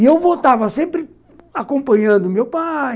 E eu votava sempre acompanhando o meu pai.